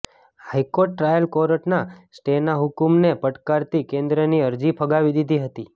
હાઇકોર્ટે ટ્રાયલ કોર્ટના સ્ટેના હુકમને પડકારતી કેન્દ્રની અરજી ફગાવી દીધી હતી